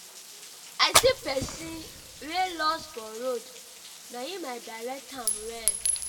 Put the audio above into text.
i see pesin wey loss for road na im i direct am well.